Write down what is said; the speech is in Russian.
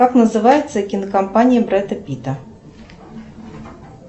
как называется кинокомпания брэда питта